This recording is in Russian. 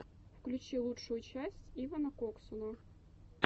включи лучшую часть ивана коксуна